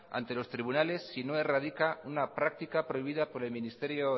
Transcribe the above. ante los tribunales si no erradica una práctica prohibida por el ministerio